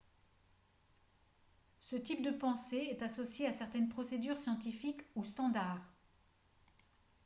ce type de pensée est associé à certaines procédures scientifiques ou standard